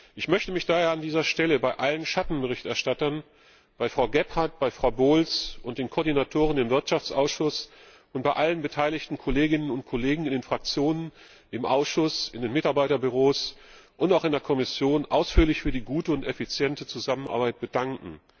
Ich möchte mich daher an dieser Stellen bei allen Schattenberichterstattern, bei Frau Gebhardt, bei Frau Bowles und den Koordinatoren im Wirtschaftsausschuss und bei allen beteiligten Kolleginnen und Kollegen in den Fraktionen, im Ausschuss, in den Mitarbeiterbüros und auch in der Kommission ausführlich für die gute und effiziente Zusammenarbeit bedanken.